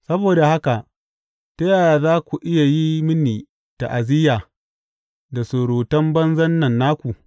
Saboda haka ta yaya za ku iya yi mini ta’aziyya da surutan banzan nan naku?